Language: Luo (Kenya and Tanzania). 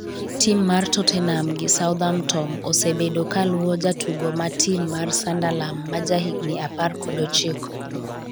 tim mar totenam gi southamtom osebedo ka luwo jatugo ma tim mar sunderlan ma ja higni apar kod ochiko